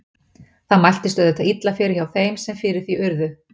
Það mæltist auðvitað illa fyrir hjá þeim sem fyrir því urðu.